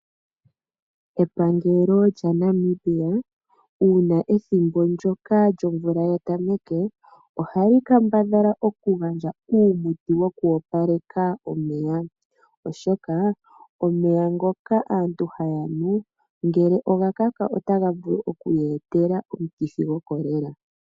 Epangelo lya Namibia uuna ethimbo ndoka lyomvula ya tameke, ohali kambadhala okugandja uumuti woku opaleka omeya. Oshoka omeya ngoka aantu haya nu ngele oga kaka otaga vulu okuy etela omukithi goCholera.